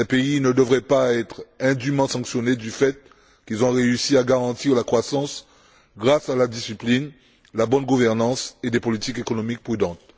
ils ne devraient pas être indûment sanctionnés du fait qu'ils ont réussi à garantir la croissance grâce à la discipline, à la bonne gouvernance et à des politiques économiques prudentes.